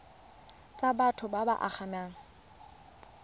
tsa batho ba ba amegang